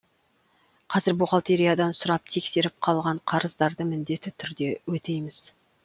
қазір бухгалтериядан сұрап тексеріп қалған қарыздарды міндетті түрде өтейміз